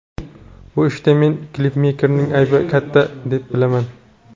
Bu ishda men klipmeykerning aybi katta, deb bilaman.